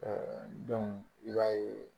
i b'a ye